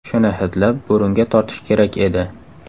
Shuni hidlab, burunga tortish kerak edi.